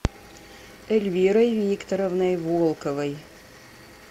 эльвирой викторовной волковой